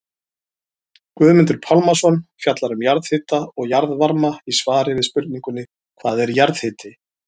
Guðmundur Pálmason fjallar um jarðhita og jarðvarma í svari við spurningunni Hvað er jarðhiti?